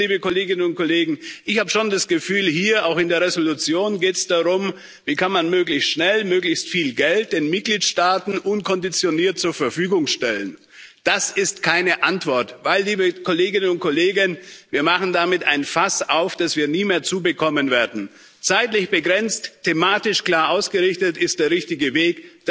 Und drittens, liebe Kolleginnen und Kollegen Ich habe schon das Gefühl, hier, auch in der Entschließung, geht es darum Wie kann man möglichst schnell möglichst viel Geld in Mitgliedstaaten unkonditioniert zur Verfügung stellen? Das ist keine Antwort, denn, liebe Kolleginnen und Kollegen, wir machen damit ein Fass auf, das wir nie mehr zubekommen werden. Zeitlich begrenzt, thematisch klar ausgerichtet ist der richtige